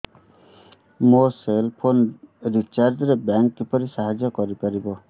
ମୋ cell phone recharge ରେ bank କିପରି ସାହାଯ୍ୟ କରିପାରିବ